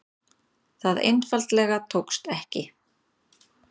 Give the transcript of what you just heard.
Það einfaldlega tókst ekki.